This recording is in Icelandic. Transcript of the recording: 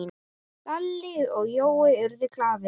Lalli og Jói urðu glaðir.